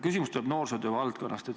Küsimus tuleb noorsootöö valdkonnast.